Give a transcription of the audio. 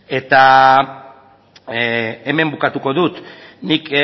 eta hemen bukatuko dut nik